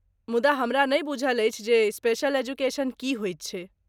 मुदा, हमरा नहि बुझल अछि जे स्पेशल एजुकेशन की होइत छै?